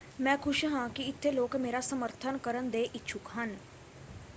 ਮੈਂ ਖੁਸ਼ ਹਾਂ ਕਿ ਇੱਥੇ ਲੋਕ ਮੇਰਾ ਸਮਰਥਨ ਕਰਨ ਦੇ ਇੱਛੁਕ ਹਨ।